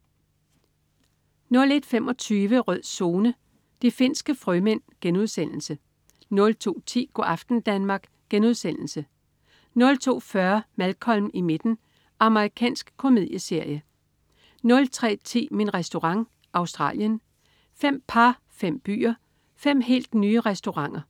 01.25 Rød Zone: De finske frømænd* 02.10 Go' aften Danmark* 02.40 Malcolm i midten. Amerikansk komedieserie 03.10 Min Restaurant. Australien. Fem par, fem byer, fem helt nye restauranter